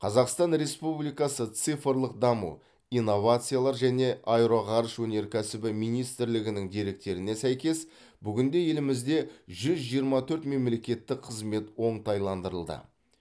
қазақстан республикасы цифрлық даму инновациялар және аэроғарыш өнеркәсібі министрлігінің деректеріне сәйкес бүгінде елімізде жүз жиырма төрт мемлекеттік қызмет оңтайландырылды